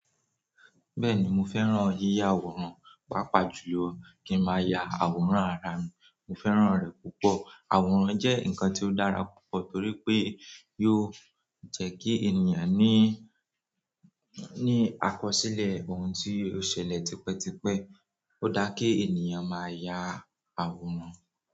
Bẹ́ẹ̀ni mo fẹ́ràn yiya àwòrán. Pápá jù lọ kí n máa ya àwòrán ara mi. Mo fẹ́ràn rẹ̀ púpọ̀. Àwòrán jẹ́ nǹkan ti ó dára púpọ̀ torí pé yóò jẹ́ kí ènìyàn ní àkọsílẹ̀ ohun tó ṣẹlẹ̀ tipẹ́tipẹ́. Ó da kí ènìyàn máa ya àwòrán.